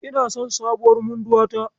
Ina son sabuwar munduwa ta.